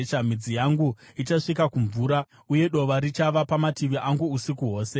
Midzi yangu ichasvika kumvura, uye dova richava pamatavi angu usiku hwose.